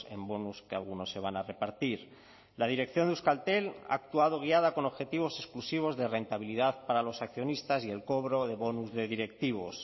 en bonus que algunos se van a repartir la dirección de euskaltel ha actuado guiada con objetivos exclusivos de rentabilidad para los accionistas y el cobro de bonus de directivos